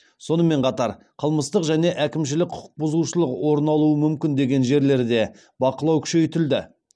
сонымен қатар қылмыстық және әкімшілік құқық бұзушылық орын алуы мүмкін деген жерлерде бақылау күшейтілді